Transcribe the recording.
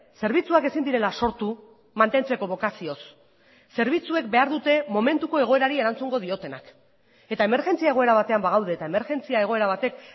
zerbitzuak ezin direla sortu mantentzeko bokazioz zerbitzuek behar dute momentuko egoerari erantzungo diotenak eta emergentzia egoera batean bagaude eta emergentzia egoera batek